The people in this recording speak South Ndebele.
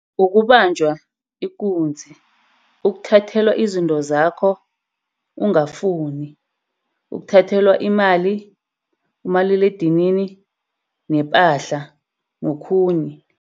Ukubanjwa ikunzi. Ukuthathelwa izinto zakho ungafuni. Ukuthathelwa imali, umaliledinini, nephahla nokhunye.